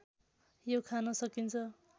यो खान सकिन्छ